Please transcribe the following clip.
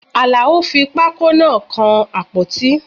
Alao fi pákó náà kan àpótí